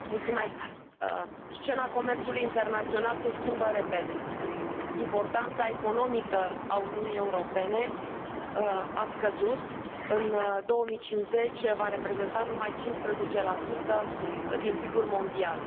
Domnule președinte, scena comerțului internațional se schimbă repede. Importanța economică a Uniunii Europene a scăzut, în 2050 va reprezenta numai 15 din PIB ul mondial.